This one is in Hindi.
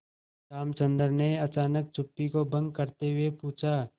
रामचंद्र ने अचानक चुप्पी को भंग करते हुए पूछा